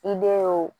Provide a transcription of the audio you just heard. I be ye o